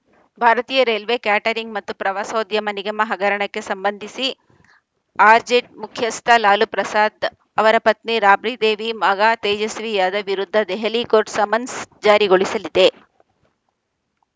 ಭಾರತೀಯ railway catering ಮತ್ತು ಪ್ರವಾಸೋದ್ಯಮ ನಿಗಮ ಹಗರಣಕ್ಕೆ ಸಂಬಂಧಿಸಿ ಆರ್‌ಜೆಡ್ ಮುಖ್ಯಸ್ಥ ಲಾಲು ಪ್ರಸಾದ್‌ ಅವರ ಪತ್ನಿ ರಾಬ್ಡಿ ದೇವಿ ಮಗ ತೇಜಸ್ವಿ ಯಾದವ್‌ ವಿರುದ್ಧ ದೆಹಲಿ ಕೋರ್ಟ್‌ ಸಮನ್ಸ್‌ ಜಾರಿಗೊಳಿಸಲಿದೆ